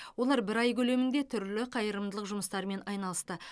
олар бір ай көлемінде түрлі қайырымдылық жұмыстарымен айналысты